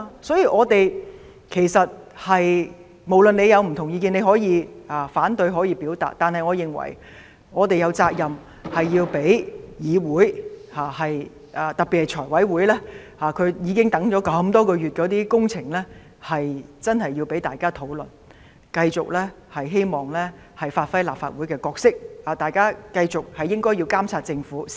所以，儘管大家有不同意見，你可以反對、可以表達，但我認為我們有責任讓議會認真進行討論，特別是財委會那些已積壓多月的工程，我們希望能夠繼續發揮立法會的角色，繼續監察政府。